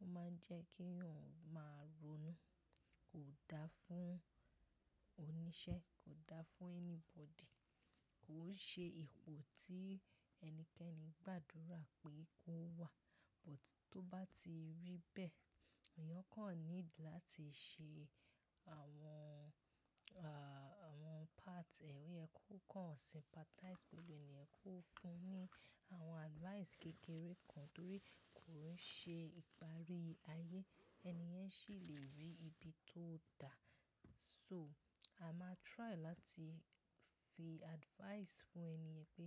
ó máa ń jẹ́ kí èèyàn máa ronú. Kò da fún oníṣẹ́, kò da fún anybody. Kò ṣe ipò tí ẹnikẹ́ni gbàdúrà pé kó wà. But tó bá ti rí bẹ́ẹ̀, èèyàn kan need láti ṣe àwọn, à, àwọn parts rẹ̀, ó yẹ kó kan sympathize pẹ̀lú ènìyàn, kó fún un ní àwọn advice kékeré kan torí kò ń ṣe ìparí ayé. Ẹni yẹn sì lè rí ibi tó da. So a máa try láti fi advice fún ènìyàn pé